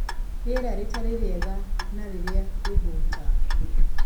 Rĩera rĩtarĩ rĩega na rĩrĩa rĩhũta